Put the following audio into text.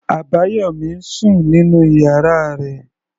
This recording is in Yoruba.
Abayomi ń sùn nínú ìyára rẹ̀.